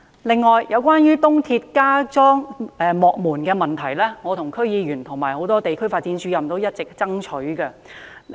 此外，有關就東鐵加裝幕門的問題，是我和區議員、很多地區發展主任一直爭取。